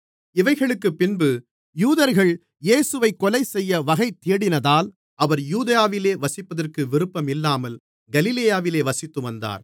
இவைகளுக்குப் பின்பு யூதர்கள் இயேசுவைக் கொலைசெய்ய வகைதேடினதால் அவர் யூதேயாவிலே வசிப்பதற்கு விருப்பம் இல்லாமல் கலிலேயாவிலே வசித்து வந்தார்